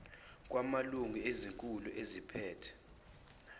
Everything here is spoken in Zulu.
kwamalungu ezikhulu eziphethe